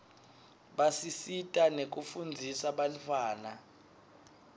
basisita nekufundzisa bantfwana